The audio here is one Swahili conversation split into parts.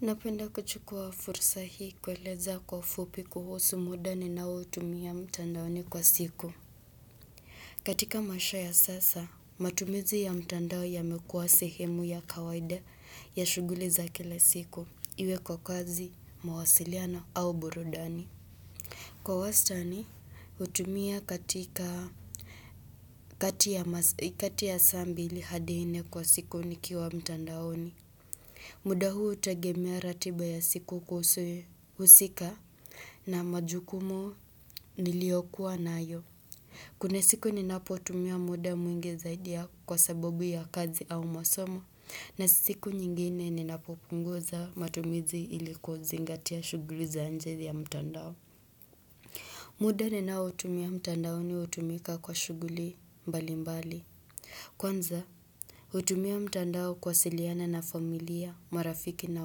Napenda kuchukua fursa hii kueleza kwa ufupi kuhusu muda ninaoutumia mtandaoni kwa siku. Katika maisha ya sasa, matumizi ya mtandao yamekuwa sehemu ya kawaida ya shughuli za kila siku, iwe kwa kazi, mawasiliano au burudani. Kwa wastani, hutumia katika kati ya saa mbili hadi nne kwa siku nikiwa mtandaoni. Muda huu hutegemea ratiba ya siku husika na majukumu niliyokuwa nayo. Kuna siku ninapotumia muda mwingi zaidi ya kwa sababu ya kazi au masomo na siku nyingine ninapopunguza matumizi ili kuzingatia shughuli za nje ya mtandao. Muda ninaoutumia mtandaoni hutumika kwa shughuli mbalimbali. Kwanza, hutumia mtandao kuwasiliana na familia, marafiki na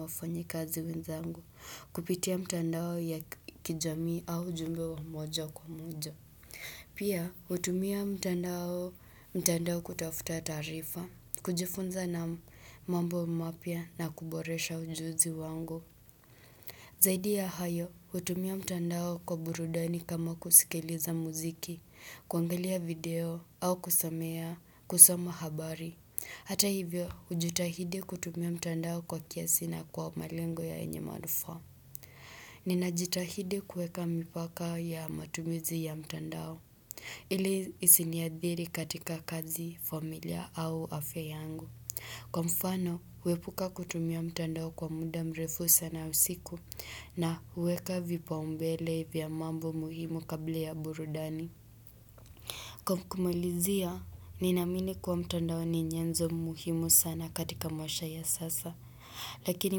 wafanyakazi wenzangu kupitia mtandao ya kijamii au ujumbe wa moja kwa moja. Pia, hutumia mtandao kutafuta taarifa, kujifunza na mambo mapya na kuboresha ujuzi wangu. Zaidi ya hayo, hutumia mtandao kwa burudani kama kusikiliza muziki, kuangalia video, au kusamea, kusoma habari. Hata hivyo, hujitahidi kutumia mtandao kwa kiasi na kwa malengo yenye manufaa. Ninajitahidi kuweka mipaka ya matumizi ya mtandao. Ili isiniadhiri katika kazi, familia au afya yangu. Kwa mfano, huepuka kutumia mtandao kwa muda mrefu sana usiku na huweka vipaumbele vya mambo muhimu kabla ya burudani. Kwa kumalizia, ninaamini kuwa mtandao ni nyenzo muhimu sana katika maisha ya sasa, lakini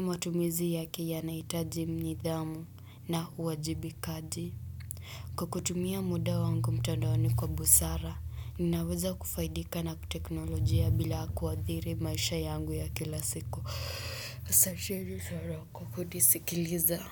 matumizi yake yanahitaji nidhamu na uwajibikaji. Kwa kutumia muda wangu mtandaoni kwa busara, ninaweza kufaidika na teknolojia bila kuathiri maisha yangu ya kila siku. Asanteni sana Kwa kunisikiliza.